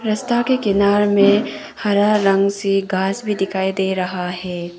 रस्ता के किनार में हरा रंग से घास भी दिखाई दे रहा है।